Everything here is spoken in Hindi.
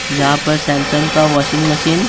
यहाँ पर सैमसंग का वाशिंग मशीन --